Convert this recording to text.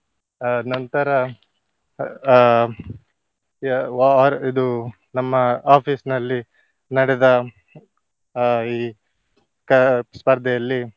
ಅಹ್ ನಂತರ ಅಹ್ ವಾ~ ಇದು ನಮ್ಮ office ನಲ್ಲಿ ನಡೆದ ಅಹ್ ಈ ಕಾ~ ಸ್ಪರ್ಧೆಯಲ್ಲಿ.